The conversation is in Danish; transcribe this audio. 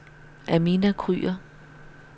Amina Kryger